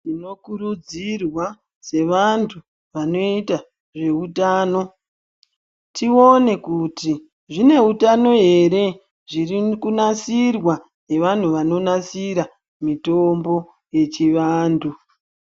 Munokurudzirwa sevantu vanoita zvehutano, tione kuti zvineutano here zviri kunasirwa nevanhu vanonasira mitombo yechivantu.